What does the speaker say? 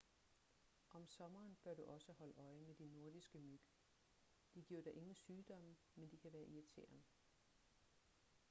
om sommeren bør du også holde øje med de nordiske myg de giver dig ingen sygdomme men de kan være irriterende